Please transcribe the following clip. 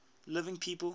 living people